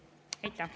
Aitäh!